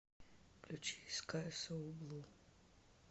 включи скай соу блу